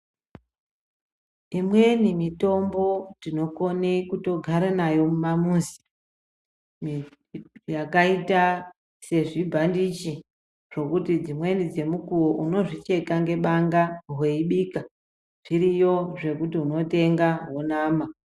Imweni mitombo tinokone kugara nayo mumamuzi mwedu yakaita sezvibhandichi zvekuti dzimweni dzemukuwo unozvicheka ngebanga weibika zviriyo zvekuti unotenga wonama.